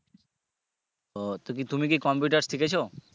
ও তো তুমি কি computer শিখেছো